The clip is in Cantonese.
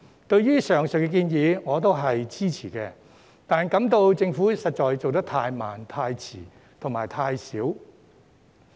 對於上述建議我表示支持，但卻認為政府的行動實在太慢、太遲和太少。